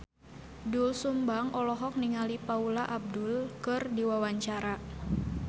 Doel Sumbang olohok ningali Paula Abdul keur diwawancara